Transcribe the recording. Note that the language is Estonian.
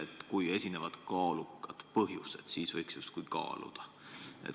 Et kui on kaalukad põhjused, siis võiks seda justkui kaaluda.